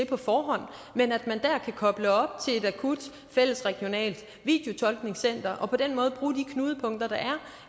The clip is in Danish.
på forhånd men at man kan koble op til et akut fælles regionalt videotolkningscenter og på den måde bruge de knudepunkter der er